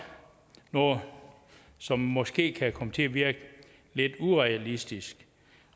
noget som måske kan komme til at virke lidt urealistisk